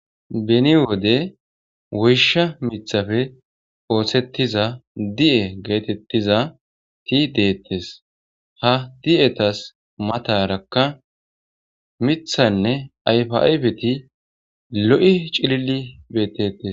beni wode woysha mithafe oosettiza di7e geetettiza ti deettes ha di7etas matarakka mithanne ayfa7aybeti lo7i cilili beetettes